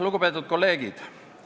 Lugupeetud kolleegid!